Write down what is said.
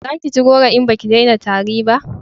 za ki ci goro in baki dena tari ba!